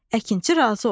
Əkinçi razı oldu.